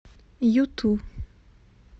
юту